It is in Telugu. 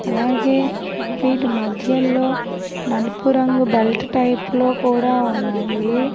అలాగే వీటి మధ్యల్లో నలుపు రంగు బెల్ట్ టైప్ లో కూడా ఉన్నాయి.